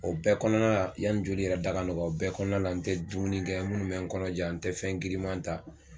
O bɛɛ kɔnɔna la yani joli yɛrɛ da ka nɔgɔ, o bɛɛ kɔnɔna la n tɛ dumuni kɛ munnu bɛ kɔnɔ ja, an tɛ fɛn giriman ta.